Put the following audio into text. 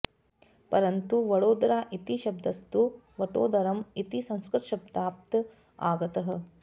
परन्तु वडोदरा इति शब्दस्तु वटोदरम् इति संस्कृतशब्दात् आगतः